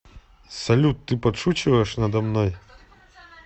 салют ты подшучиваешь надо мной